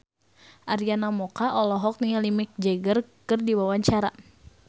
Arina Mocca olohok ningali Mick Jagger keur diwawancara